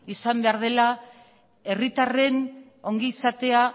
izan behar dela herritarren ongizatea